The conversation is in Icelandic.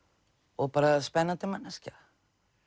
og bara spennandi manneskja